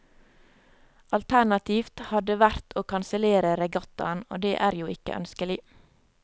Alternativt hadde vært å kansellere regattaen, og det er jo ikke ønskelig.